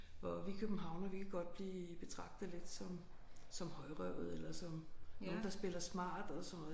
Hvor vi københavnere vi kan godt blive betragtet lidt som som højrøvede eller som nogen der spiller smart og sådan noget